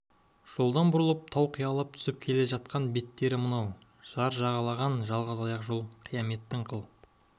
жолдан бұрылып тау қиялап түсіп келе жатқан беттері мынау жар жағалаған жалғыз аяқ жол қияметтің қыл